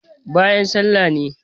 bayan sallah ne